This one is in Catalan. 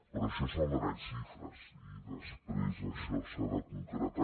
però això són grans xifres i després això s’ha de concretar